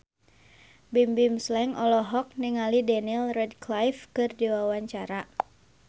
Bimbim Slank olohok ningali Daniel Radcliffe keur diwawancara